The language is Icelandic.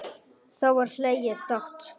Þá var hlegið dátt.